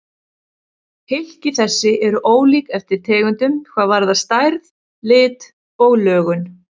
Hylki þessi eru ólík eftir tegundum hvað varðar stærð, lit og lögun.